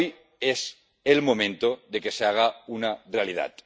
Hoy es el momento de que se haga una realidad.